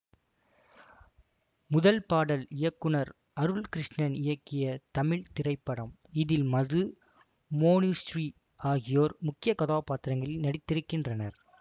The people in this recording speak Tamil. முதல் பாடல் இயக்குனர் அருள்கிருஷ்ணன் இயக்கிய தமிழ் திரைப்படம் இதில் மதுமோனுஸ்ரீ ஆகியோர் முக்கிய கதாபாத்திரங்களில் நடித்திருக்கின்றனர்